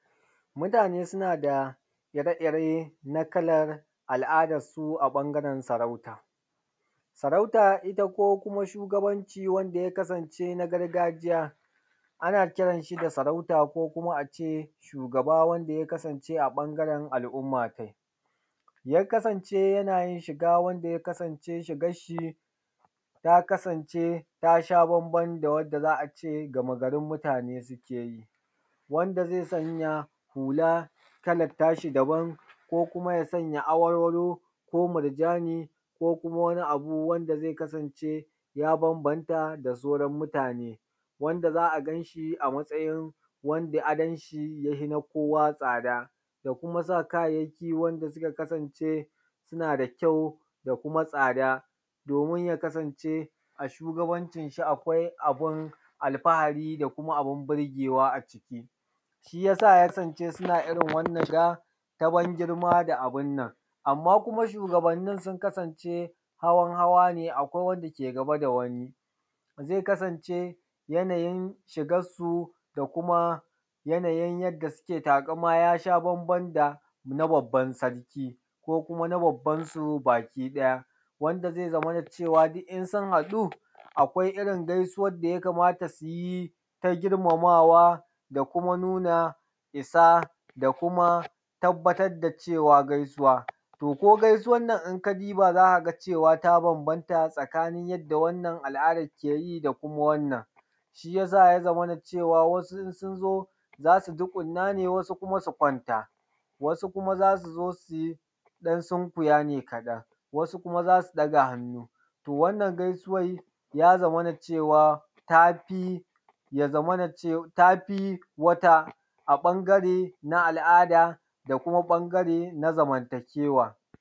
Mutane suna da ire ire na kalan al’adansu a ɓangaren sarauta. Sarauta ita ko kuma shugabanci wanda ya kasance na gargajiya ana kiran shi da sarauta ko kuma a ce shugaba wanda ya kasance a ɓangaren al'umma tai. Ya kasance yana yin shiga wanda ya kasance shigar shi ta kasance ta sha bamban da wanda gama garin mutane suke yi. Wanda zai sanya hula kalan ta shi daban, ko kuma ya sanya warwaro, ko murjani, ko wani abu wanda zai kasance ya bambanta da sauran mutane. Wanda za a gan shi a matsayin wanda adon shi ya fi na kowa tsada, da kuma sa kayayyaki wanda suka kasance suna da kyau da kuma tsada domin ya kasance a shugabancin shi akwai abun alfahari da kuma abun birgewa a ciki. Shi yasa kasance suna irin wannan shiga na ban girma da abun nan. Amma kuma sugabannin sun kasance hawan hawa ne, akwai wanda ke gaba da wani. Zai kasance yanayin shigan su da kuma yanayin yadda suke taƙama ya sha bamban da na babban sarki, ko kuma na babban su baki ɗaya. Wanda zai zamana cewa duk in sun haɗu gaisuwan da ya kamata su yi ta girmamawa da kuma nuna isa, da kuma tabbatar da cewa gaisuwa. To ko gaisuwan nan in ka duba za ka ga cewa ta bambanta tsakanin yadda wannan al’adan ke yi da kuma wannan. Shi yasa ya zamana cewa wasu in sun zo za su tsugunna ne, wasu kuma su kwanta, wasu kuma za su zo su sunkuya ne kaɗan, wasu kuma za su ɗaga hannu. Wannan gaisuwan ya zamana cewa tafi wata a ɓangare na al’ada da kuma ɓangare na zamantakewa.